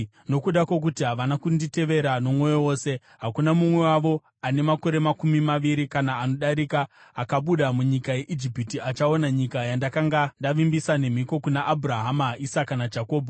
‘Nokuda kwokuti havana kunditevera nomwoyo wose, hakuna mumwe wavo ane makore makumi maviri kana anodarika akabuda munyika yeIjipiti achaona nyika yandakanga ndavimbisa nemhiko kuna Abhurahama, Isaka naJakobho,